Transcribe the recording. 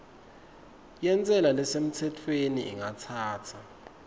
yentsela lesemtsetfweni ingatsatsa